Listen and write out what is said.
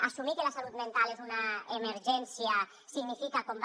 assumir que la salut mental és una emergència significa com va